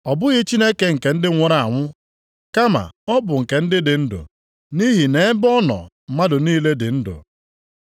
Ọ bụghị Chineke nke ndị nwụrụ anwụ, kama ọ bụ nke ndị dị ndụ, nʼihi nʼebe ọ nọ mmadụ niile dị ndụ.”